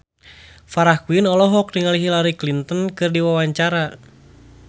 Farah Quinn olohok ningali Hillary Clinton keur diwawancara